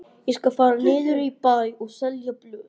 Ég skal fara niður í bæ og selja blöð.